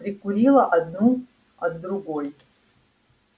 прикурила одну от другой